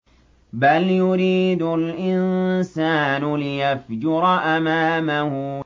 بَلْ يُرِيدُ الْإِنسَانُ لِيَفْجُرَ أَمَامَهُ